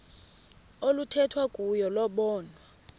oluthethwa kuyo lobonwa